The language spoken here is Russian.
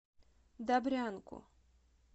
добрянку